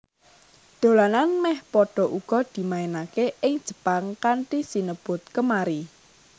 Dolanan mèh padha uga dimainaké ing Jepang kanthi sinebut Kemari